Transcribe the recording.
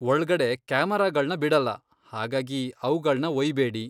ಒಳ್ಗಡೆ ಕ್ಯಾಮೆರಾಗಳ್ನ ಬಿಡಲ್ಲ ಹಾಗಾಗಿ ಅವ್ಗಳ್ನ ಒಯ್ಯ್ ಬೇಡಿ.